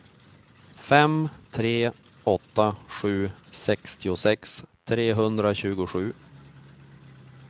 fem tre åtta sju sextiosex trehundratjugosju